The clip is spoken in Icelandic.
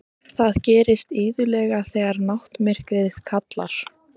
Það gerist iðulega þegar náttmyrkrið kallar.